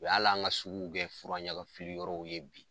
O y' ala an ka suguw kɛ furaɲaga fili yɔrɔw ye bi.